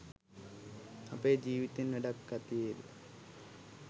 අපේ ජීවිතෙන් වැඩක් ඇතිවේද